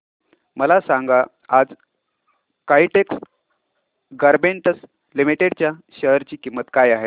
मला सांगा आज काइटेक्स गारमेंट्स लिमिटेड च्या शेअर ची किंमत काय आहे